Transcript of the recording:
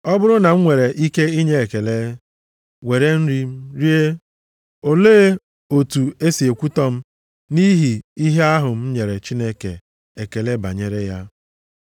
Ọ bụrụ na m nwere ike inye ekele, were nri m rie, olee otu e si ekwutọ m nʼihi ihe ahụ m nyere Chineke ekele banyere ya?